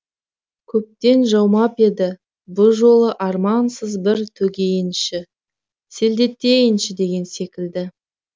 көптен жаумап еді бұл жолы армансыз бір төгейінші селдетейінші деген секілді